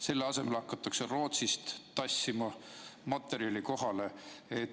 Selle asemel hakatakse Rootsist tassima materjali kohale.